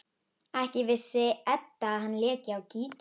Ekki vissi Edda að hann léki á gítar.